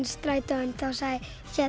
strætóinn þá sagði